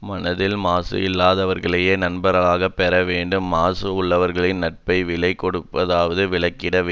மனத்தில் மாசு இல்லாதவர்களையே நண்பர்களாகப் பெற வேண்டும் மாசு உள்ளவர்களின் நட்பை விலை கொடுத்தாவது விலக்கிட வே